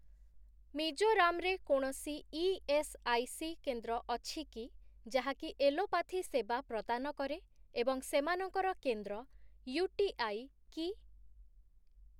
ମିଜୋରାମ୍‌ ରେ କୌଣସି ଇଏସ୍ଆଇସି କେନ୍ଦ୍ର ଅଛି କି ଯାହାକି ଏଲୋପାଥି ସେବା ପ୍ରଦାନ କରେ ଏବଂ ସେମାନଙ୍କର କେନ୍ଦ୍ର 'ୟୁ ଟି ଆଇ' କି?